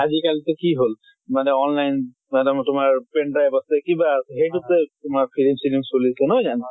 আজি কালি টো কি হʼল? মানে online তোমাৰ pendrive আছে কিবা আছে সেইটোতে তোমাৰ ফিলিম চিলিম চলিছে, নহয় জানো?